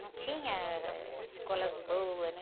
Não tinha, ãh, escolas boas, né?